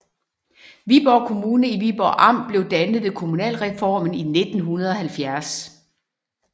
Viborg Kommune i Viborg Amt blev dannet ved kommunalreformen i 1970